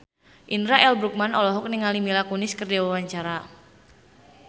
Indra L. Bruggman olohok ningali Mila Kunis keur diwawancara